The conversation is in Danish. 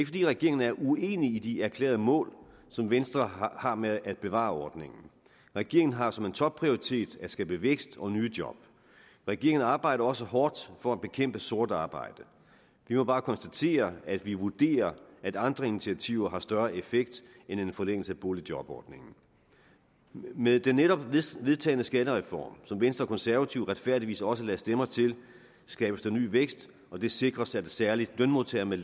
fordi regeringen er uenig i de erklærede mål som venstre har med at bevare ordningen regeringen har som en topprioritet at skabe vækst og nye job regeringen arbejder også hårdt for at bekæmpe sort arbejde vi må bare konstatere at vi vurderer at andre initiativer har større effekt end en forlængelse af boligjobordningen med den netop vedtagne skattereform som venstre og konservative retfærdigvis også lagde stemmer til skabes der ny vækst og det sikres at særlig lønmodtagere med